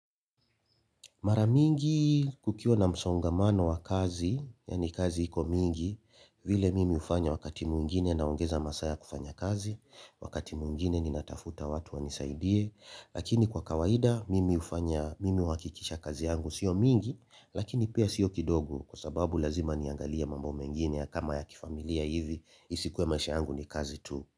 Mara mingi kukiwa na msongamano wa kazi, yaani kazi iko mingi, vile mimi hufanya wakati mwingine naongeza masaa ya kufanya kazi, wakati mwingine ninatafuta watu wanisaidie, lakini kwa kawaida mimi hufanya mimi uhakikisha kazi yangu sio mingi, lakini pia sio kidogo kwa sababu lazima niangalie mambo mengine ya kama ya kifamilia hivi, isikuwe maisha yangu ni kazi tu.